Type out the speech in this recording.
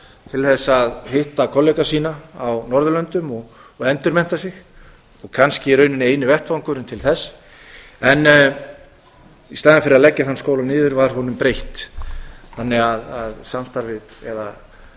til þess að hitta kollega sína á norðurlöndum og endurmennta sig kannski í rauninni eini vettvangurinn til þess í staðinn fyrir að leggja þann skóla niður var honum breytt þannig að samstarfið eða